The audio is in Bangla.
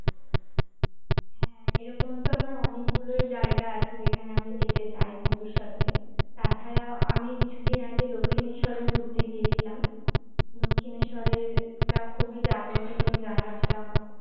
এরকম তো আমার অনেকগুলো জায়গা আছে যেখানে আমি যেতে চাই ভবিষ্যতে তা ছাড়া আমি কিছুদিন আগে দক্ষিণেশ্বরে ঘুরতে গিয়েছিলাম দক্ষিণেশ্বরের একটা খুবই জাগ্রত তুমি জানো একটা